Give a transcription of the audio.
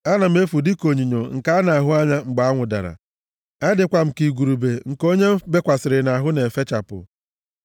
Ana m efu + 109:23 Maọbụ, agba barịị dịka onyinyo nke a na-ahụ anya mgbe anwụ dara; adịkwa m ka igurube nke onye m bekwasịrị nʼahụ ya na-efechapụ.